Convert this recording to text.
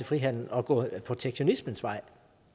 frihandel og gå protektionismens vej